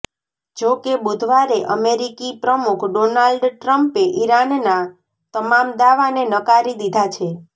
જોકે બુધવારે અમેરિકી પ્રમુખ ડોનાલ્ડ ટ્રમ્પે ઈરાનના તમામ દાવાને નકારી દીધાં છે